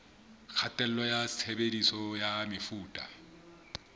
kgatello ya tshebediso ya mefuta